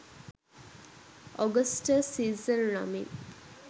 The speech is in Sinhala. ඔගස්ටස් සීසර් නමින්